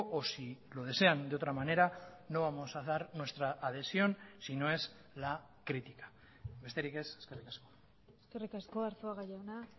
o si lo desean de otra manera no vamos a dar nuestra adhesión si no es la crítica besterik ez eskerrik asko eskerrik asko arzuaga jauna